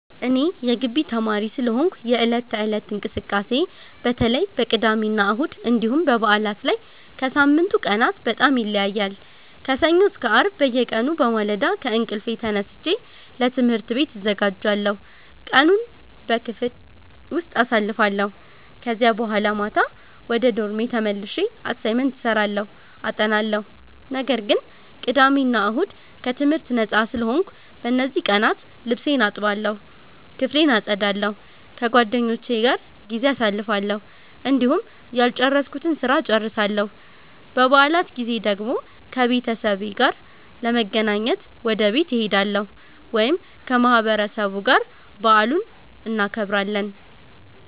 እኔ የጊቢ ተማሪ ስለሆንኩ የዕለት ተዕለት እንቅስቃሴዬ በተለይ በቅዳሜና እሁድ እንዲሁም በበዓላት ላይ ከሳምንቱ ቀናት በጣም ይለያያል። ከሰኞ እስከ አርብ በየቀኑ በማለዳ ከእንቅልፌ ተነስቼ ለትምህርት ቤት እዘጋጃለሁ፣ ቀኑን በክፍል ውስጥ አሳልፋለሁ ከዛ በኋላ ማታ ወደ ዶርሜ ተመልሼ አሳይመንት እሰራለሁ አጠናለሁ። ነገር ግን ቅዳሜ እና እሁድ ከትምህርት ነጻ ስለሆንኩ፣ በእነዚህ ቀናት ልብሴን እጠባለሁ፣ ክፍሌን አጸዳለሁ፣ ከጓደኞቼ ጋር ጊዜ አሳልፋለሁ፣ እንዲሁም ያልጨረስኩትን ስራ እጨርሳለሁ። በበዓላት ጊዜ ደግሞ ከቤተሰቤ ጋር ለመገናኘት ወደ ቤት እሄዳለሁ ወይም ከማህበረሰቡ ጋር በዓሉን እናከብራለን።